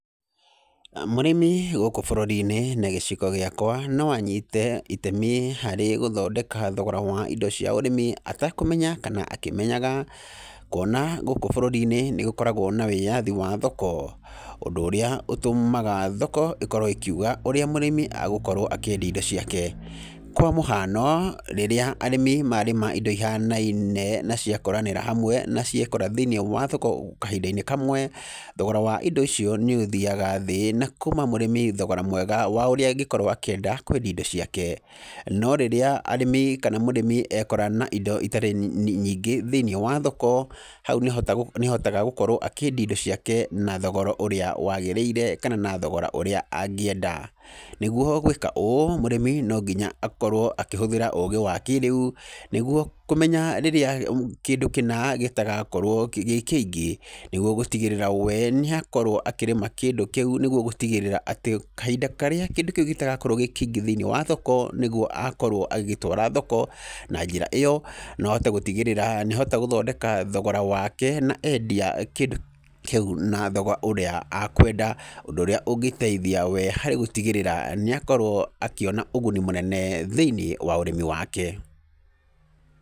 Mũrĩmi gũkũ bũrũri-inĩ na gĩcigo gĩakwa no anyite itemi harĩ gũthondeka thogora wa indo cia ũrĩmi atekũmenya kana akĩmenyaga , kuona gũkũ bũrũri-inĩ nĩ gũkoragwo na wĩyathi wa thoko, ũndũ ũrĩa ũtũmaga thoko ĩkorwo ĩkĩuga ũrĩa mũrĩmi agũkorwo akĩendia indo ciake , kwa mũhano rĩrĩa arĩmi marĩma indo ihianaine na ciakũranĩra hamwe na ciekora thĩiniĩ wa thoko kahinda-inĩ kamwe, thogora wa indo icio nĩ ũthiaga thĩ na kũima mũrĩmi thogora mwega wa ũrĩa angĩkorwo angĩenda kwendia indo ciake, no rĩrĩa arĩmi kana mũrĩmi ekora na indo itarĩ nyingĩ thĩiniĩ wa thoko, hau nĩ ahotaga gũkorwo akĩendia indo ciake na thogora ũrĩa wagĩrĩire kana na thogora ũrĩa angĩenda , nĩgwo gwĩka ũũ mũrĩmi no nginya akorwo akĩhũthĩra ũgĩ wa kĩrĩu nĩgwo kũmenya rĩrĩa kĩndũ kĩna gĩtagakorwo gĩ kĩingĩ , nĩgwo gũtigĩrĩra we nĩ akorwo akĩrĩma kĩndũ nĩgwo gũtigĩrĩra atĩ kahinda karĩa kĩndũ kĩu gĩtagakorwo gĩ kĩingĩ thĩiniĩ wa thoko , nĩgwo agakorwo agĩgĩtwara thoko, na njĩra ĩyo no ahote gũtigĩrĩra nĩ ahota gũthondeka thogora wake na endia kĩndũ kĩu na thogora ũrĩa akwenda, ũndũ ũrĩa ũngĩteithia we harĩ gũtigĩrĩra nĩ akorwo akĩona ũguni mũnene thĩiniĩ wa ũrĩmi wake.